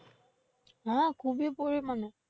হ্যাঁ খুবই পরিমানে।